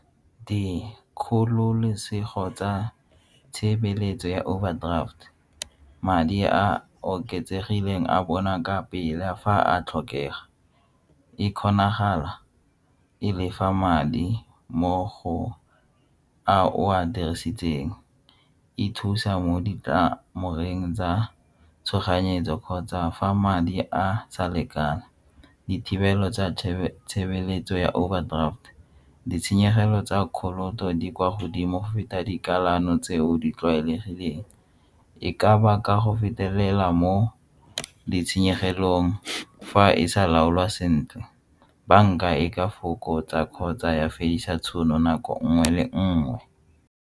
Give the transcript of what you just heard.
Dikgololosego tsa tshebeletso ya overdraft, madi a a oketsegileng a bona ka pela fa a tlhokega, e kgonagala e lefa madi mo go a o a dirisitseng, e thusa mo tsa tshoganyetso kgotsa fa madi a sa lekana dithibelo tsa tshebeletso ya overdraft ditshenyegelo tsa ka poloto di kwa godimo feta dikamano tseo di tlwaelegileng e ka baka go fetelela mo ditshenyegelong fa e sa laolwa sentle banka e ka fokotsa kgotsa ya fedisa tšhono nako nngwe le nngwe.